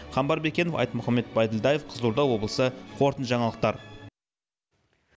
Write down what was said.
қамбар бекенов айтмұхамбет байділдаев қызылорда облысы қорытынды жаңалықтар